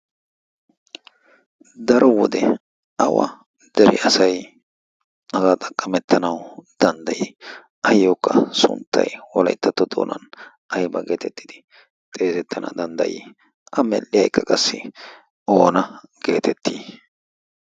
daro wode awa deri asay hagaa xaqqamettanawu danddayi ayyookka sunttai walaittatto xoonan ayba geetettidi xeezettana danddayii a medhdhiya ekka qassi oona geetettii?